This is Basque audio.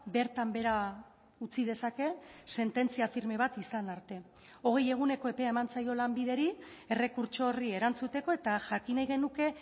bertan behera utzi dezake sententzia firme bat izan arte hogei eguneko epea eman zaio lanbideri errekurtso horri erantzuteko eta jakin nahi genuke